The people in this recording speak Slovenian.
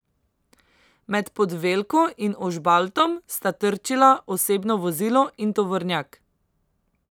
Med Podvelko in Ožbaltom sta trčila osebno vozilo in tovornjak.